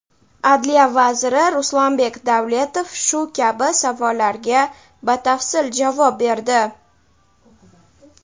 Adliya vaziri Ruslanbek Davletov shu kabi savollarga batafsil javob berdi.